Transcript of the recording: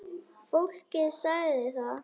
Fólkið sagði það.